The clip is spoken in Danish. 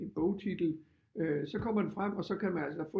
En bogtitel så kommer den frem og så kan man altså